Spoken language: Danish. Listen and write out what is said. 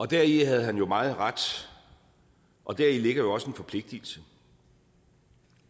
deri havde han meget ret og og deri ligger jo også en forpligtelse